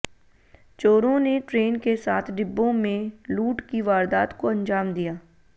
चोरों ने ट्रेन के सात डिब्बों में लूट की वारदात को अंजाम दिया